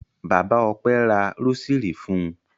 Bàbá Ọpẹ́ ra rósírì fún un.